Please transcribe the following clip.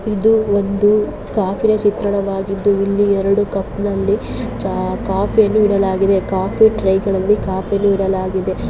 ಇದು ಒಂದು ಕಾಫಿ ನ ಚಿತ್ರಣವಾಗಿದ್ದು ಇಲ್ಲಿ ಎರಡು ಕಪ್ ನಲ್ಲಿ ಚಾ ಕಾಫಿ ಯನ್ನು ಇಡಲಾಗಿದೆ ಕಾಫಿ ಟ್ರೇಗಳಲ್ಲಿ ಕಾಫಿ ಯನ್ನು ಇಡಲಾಗಿದೆ.